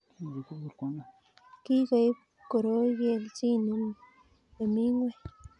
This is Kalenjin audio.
Kikoib koroi kelchin nemi ngweny